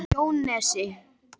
Jónsnesi